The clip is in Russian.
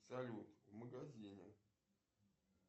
салют в магазине